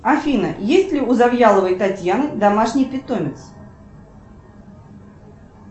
афина есть ли у завьяловой татьяны домашний питомец